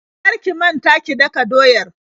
Kar ki manta ki daka doyar.